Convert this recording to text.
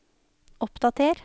oppdater